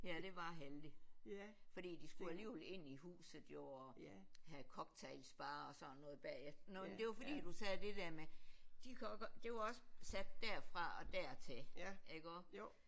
Ja det var heldigt fordi de skulle alligevel ind i huset jo og have cocktails bare og sådan noget bagefter men det var fordi du sagde det der med de kan også godt det var også sat derfra og dertil ikke også